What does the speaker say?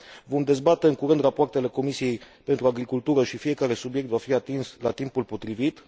Vom dezbate în curând rapoartele Comisiei pentru agricultură și fiecare subiect va fi atins la timpul potrivit.